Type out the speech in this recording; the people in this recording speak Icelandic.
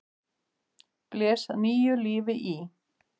blés nýju lífi í.